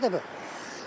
Təhlükədir bu.